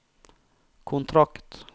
kontrakt